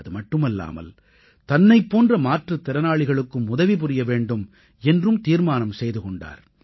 அதுமட்டுமல்லாமல் தன்னைப் போன்ற மாற்றுத் திறனாளிகளுக்கும் உதவி புரிய வேண்டும் என்றும் தீர்மானம் செய்து கொண்டார்